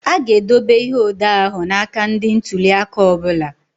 A ga-edobe ihe odee ahụ na aka ndị ntuli aka ọ bụla.